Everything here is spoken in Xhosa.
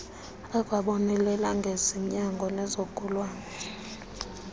akwabonelela ngezonyango nezigulane